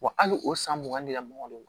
Wa hali o san mugan ni ka mɔgɔ don